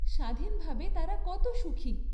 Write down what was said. স্বাধীনভাবে তারা কত সুখী।